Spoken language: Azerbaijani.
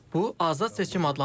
Bu azad seçim adlanır.